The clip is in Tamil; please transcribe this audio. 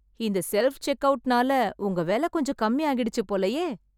இந்த செல்ஃப் செக்கவுட்ன்னால உங்க வேலை கொஞ்சம் கம்மி ஆகிடுச்சு போலயே!